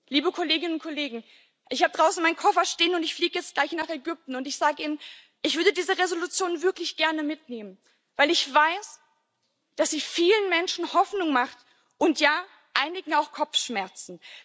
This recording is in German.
Liebe Kolleginnen und Kollegen, ich habe draußen meinen Koffer stehen und ich fliege jetzt gleich nach Ägypten und ich sage Ihnen Ich würde diese Entschließung wirklich gerne mitnehmen, weil ich weiß, dass sie vielen Menschen Hoffnung macht und ja, einigen auch Kopfschmerzen.